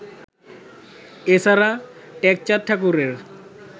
এ ছাড়া টেকচাঁদ ঠাকুরের